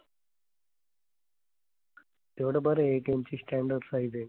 तेवढं बरं ATM ची standard size आहे.